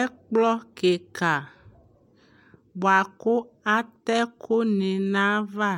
ɛkplɔ kika bʋakʋ atɛ ɛkʋni nʋ aɣa,